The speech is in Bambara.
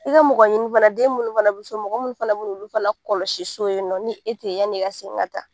I ka mɔgɔ ɲini fana den minnu fana bɛ so mɔgɔ minnu fana bɛ n'olu fana kɔlɔsi so yen nɔ ni e tɛ yen yaani e ka segin ka taa